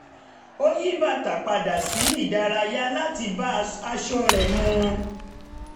ó yí bàtà padà sí ti ìdárayá láti bá aṣọ rẹ̀ mu